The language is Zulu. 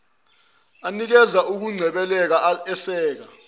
anikeza ukungcebeleka eseka